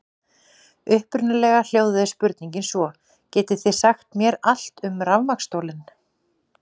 Upprunalega hljóðaði spurningin svo: Getið þið sagt mér allt um rafmagnsstólinn?